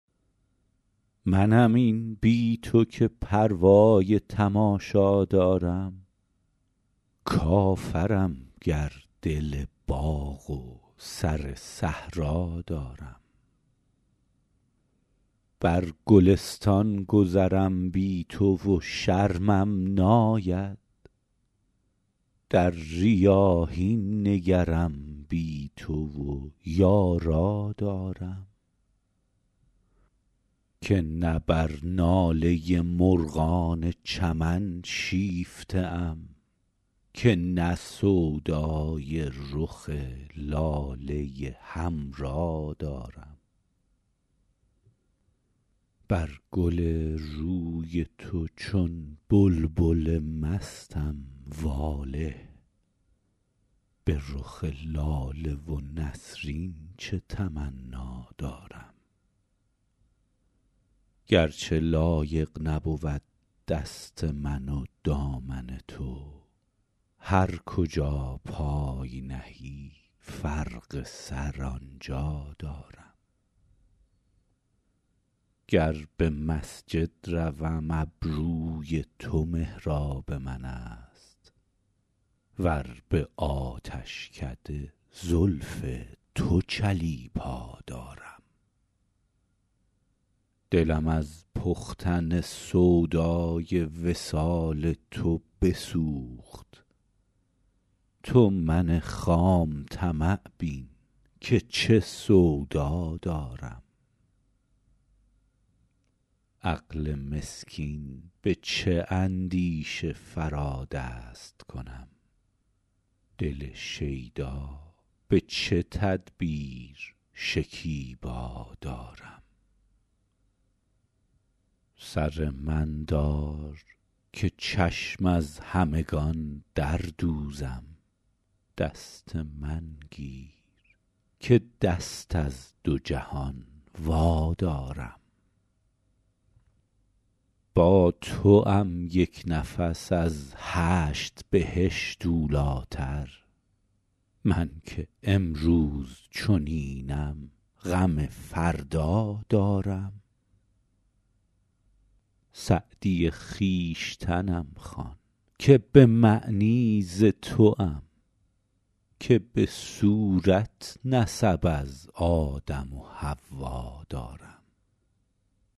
منم این بی تو که پروای تماشا دارم کافرم گر دل باغ و سر صحرا دارم بر گلستان گذرم بی تو و شرمم ناید در ریاحین نگرم بی تو و یارا دارم که نه بر ناله مرغان چمن شیفته ام که نه سودای رخ لاله حمرا دارم بر گل روی تو چون بلبل مستم واله به رخ لاله و نسرین چه تمنا دارم گر چه لایق نبود دست من و دامن تو هر کجا پای نهی فرق سر آن جا دارم گر به مسجد روم ابروی تو محراب من است ور به آتشکده زلف تو چلیپا دارم دلم از پختن سودای وصال تو بسوخت تو من خام طمع بین که چه سودا دارم عقل مسکین به چه اندیشه فرا دست کنم دل شیدا به چه تدبیر شکیبا دارم سر من دار که چشم از همگان در دوزم دست من گیر که دست از دو جهان وادارم با توام یک نفس از هشت بهشت اولی تر من که امروز چنینم غم فردا دارم سعدی خویشتنم خوان که به معنی ز توام که به صورت نسب از آدم و حوا دارم